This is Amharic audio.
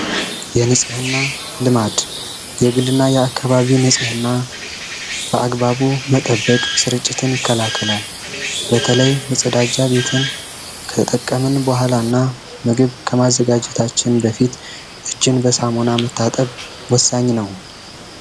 የንጽህ እና ልማድ የእግል እና የአካባቢ ንጽህና በአግባቡ መጠበቅ ስርጭትን ይከላከላል በተለይ ምጸዳጃ ቤትን ከጠቀምን በኋላ እና ምግብ ከማዘጋጀታችን በፊት እጅን በሳሞና መታጠብ ወሳኝ ነው፡፡